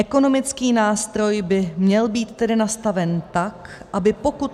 Ekonomický nástroj by měl být tedy nastaven tak, aby pokud...